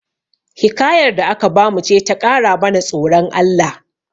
Hikayar da aka bamu ce ta ƙara mana tsoron Allah